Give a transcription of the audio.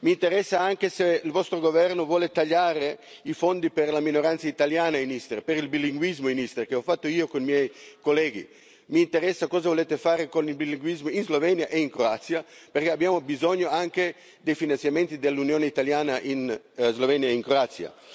Mi interessa anche se il vostro governo vuole tagliare i fondi per la minoranza italiana in Istria, per il bilinguismo in Istria, che ho fatto io con i miei colleghi. Mi interessa cosa volete fare con il bilinguismo in Slovenia e in Croazia, perché abbiamo bisogno anche dei finanziamenti dell'Unione italiana in Slovenia e in Croazia.